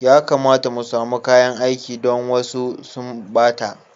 Ya kamata mu samu kayan aiki don wasu sun ɓata.